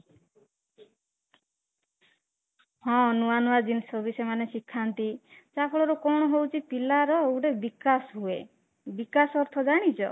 ହଁ, ନୂଆ ନୂଆ ଜିନିଷ ବି ଶିଖାନ୍ତି ଯାହା ଫଳରେ କଣ ହଉଚି କି ପିଲାର ଗୋଟେ ବିକାଶ ହୁଏ ବିକାଶ ଅର୍ଥ ଜାଣିଛ?